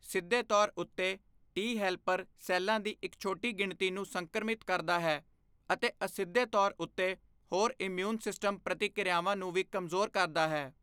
ਸਿੱਧੇ ਤੌਰ ਉੱਤੇ ਟੀ ਹੈਲਪਰ ਸੈੱਲਾਂ ਦੀ ਇੱਕ ਛੋਟੀ ਗਿਣਤੀ ਨੂੰ ਸੰਕ੍ਰਮਿਤ ਕਰਦਾ ਹੈ, ਅਤੇ ਅਸਿੱਧੇ ਤੌਰ ਉੱਤੇ ਹੋਰ ਇਮਿਊਨ ਸਿਸਟਮ ਪ੍ਰਤੀਕਿਰਿਆਵਾਂ ਨੂੰ ਵੀ ਕਮਜ਼ੋਰ ਕਰਦਾ ਹੈ।